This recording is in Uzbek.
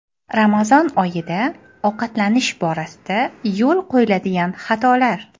Ramazon oyida ovqatlanish borasida yo‘l qo‘yiladigan xatolar.